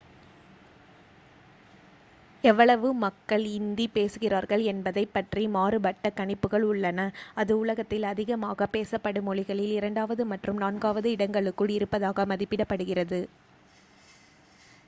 எவ்வளவு மக்கள் இந்தி பேசுகிறார்கள் என்பதைப் பற்றி மாறுபட்ட கணிப்புகள் உள்ளன அது உலகத்தில் அதிகமாகப் பேசப்படும் மொழிகளில் இரண்டாவது மற்றும் நான்காவது இடங்களுக்குள் இருப்பதாக மதிப்பிடப்படுகிறது